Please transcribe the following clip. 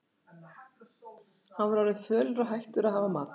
Hann var orðinn fölur og hættur að hafa matarlyst.